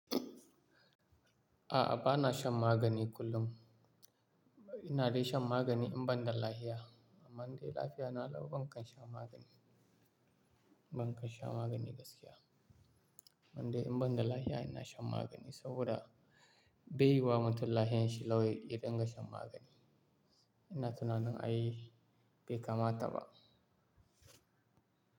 A'a, ba na shan magani kullum. Ina dai shan magani in ban da lahiya. Amma indai lafiyana lau, ban kan sha magani, ban kan sha magani gaskiya. Amman dai in ban da lafiya, ina shan magani saboda beyiwa mutum lafiyanshi lau yadinga shan magani. Ina tunanin ai bai kama ta ba.